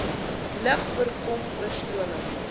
lug voorkom oorstromings